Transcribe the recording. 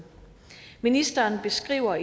ministeren beskriver